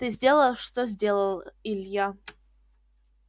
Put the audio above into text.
ты сделал что сделал илья